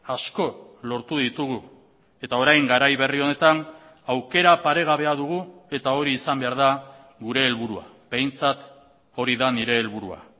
asko lortu ditugu eta orain garai berri honetan aukera paregabea dugu eta hori izan behar da gure helburua behintzat hori da nire helburua